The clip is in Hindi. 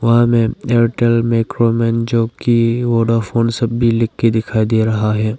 यहां में एयरटेल मैक्रोमैन जोकि वोडाफोन सब भी लिख के दिखाई दे रहा है।